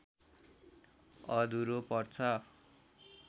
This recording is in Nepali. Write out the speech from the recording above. अधुरो पर्छ